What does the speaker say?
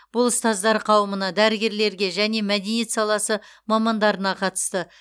бұл ұстаздар қауымына дәрігерлерге және мәдениет саласы мамандарына қатысты